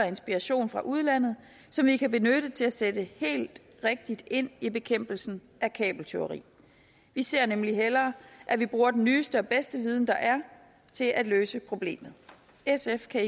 inspiration fra udlandet som vi kan benytte til at sætte helt rigtigt ind i bekæmpelsen af kabeltyveri vi ser nemlig hellere at vi bruger den nyeste og bedste viden der er til at løse problemet sf kan